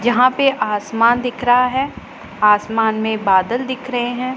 जहां पे आसमान दिख रहा है आसमान में बादल दिख रहे हैं।